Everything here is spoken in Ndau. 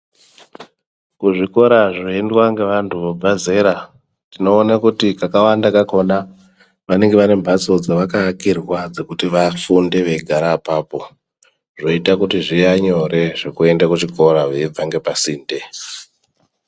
Kuzvikora zvoendwa ngevanTu vabve zera tinoona kuti kakawanda kakhona vanenga vane mhatso dzavakaakirwa dzekuti vafunde veigara apapo zvoita kuti zvive nyore zvekuende kuchikora veibve ngepasinde.